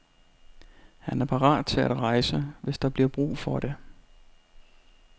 Han er parat til at rejse, hvis der bliver brug for det.